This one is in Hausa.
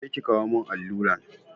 Je ki kawo mun alluran!